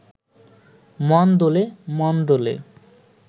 মন দোলে…মন দোলে